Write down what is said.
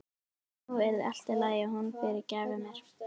Nú yrði allt í lagi og hún fyrirgæfi mér.